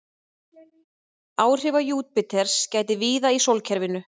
Áhrifa Júpíters gætir víða í sólkerfinu.